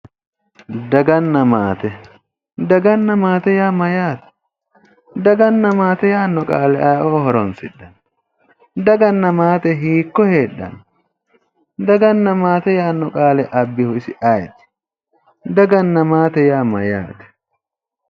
Daganna maate, daganna maate yaa mayyaate? daganna maate yaanno qaale ayeeoo horonsidhanno? daganna maate hiikko heedhanno? daganna maate yaanno qaale abbihu isi ayeeti? Daganna maate yaa mayyaate?